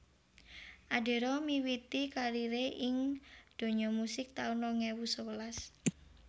Adera miwiti karieré ing donya musik taun rong ewu sewelas